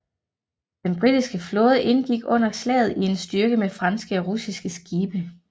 Den britiske flåde indgik under slaget i en styrke med franske og russiske skibe